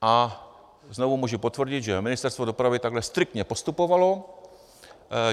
A znovu můžu potvrdit, že Ministerstvo dopravy takhle striktně postupovalo.